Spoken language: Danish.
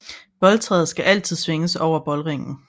Boldtræet skal altid svinges over boldringen